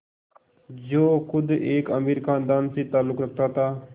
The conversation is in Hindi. जो ख़ुद एक अमीर ख़ानदान से ताल्लुक़ रखता था